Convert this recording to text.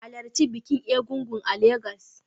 Halarci bikin Egúngún a Legas